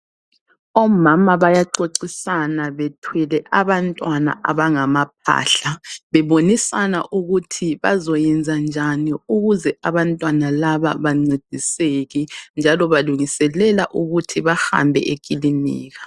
Omama bayaxoxisana bethwele abantwana abangamaphahla. Bebonisana ukuthi bazoyenza njani ukuze abantwana laba bancediseke njalo balungiselela ukuthi bahambe ekilinika.